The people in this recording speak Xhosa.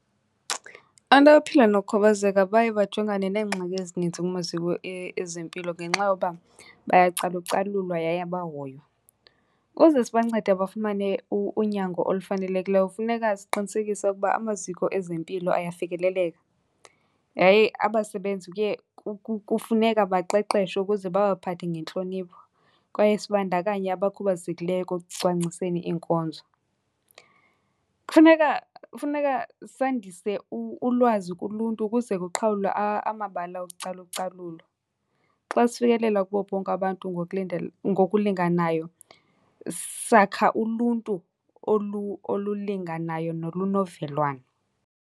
Abantu abaphila nokukhubazeka baye bajongane neengxaki ezininzi kumaziko ezempilo ngenxa yoba bayacalucalulwa yaye abahoywa. Uze sibancede bafumane unyango olufanelekileyo funeka siqinisekise ukuba amaziko ezempilo ayafikeleleka yaye abasebenzi kufuneka baqeqeshwe ukuze babaphathe ngentlonipho. Kwaye sibandakanye abakhubazekileyo ekucwangciseni iinkonzo. Kufuneka, kufuneka sandise ulwazi kuluntu ukuze kuqhawulwe amabala okucalucalulwa. Xa sifikelela kubo bonke abantu ngokulinganayo sakha uluntu olulinganayo nolunovelwano.